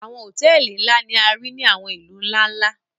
àwọn hotẹẹli nla ni a rii ni àwọn ilu nla-nla.